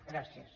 gràcies